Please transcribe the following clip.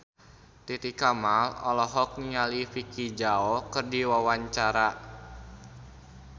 Titi Kamal olohok ningali Vicki Zao keur diwawancara